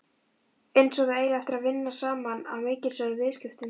Einsog þau eigi eftir að vinna saman að mikilsverðum viðskiptum.